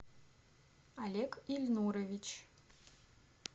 олег ильнурович